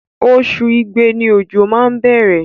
Oṣù igbe ni ojo má ń bẹ̀rẹ̀.